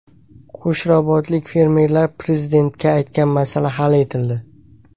Qo‘shrabotlik fermerlar Prezidentga aytgan masala hal etildi.